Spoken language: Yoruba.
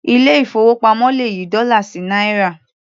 Ilé ìfowópamọ́ le yí dọ́là sí náírà.